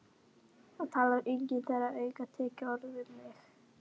Það talar enginn þeirra aukatekið orð við mig.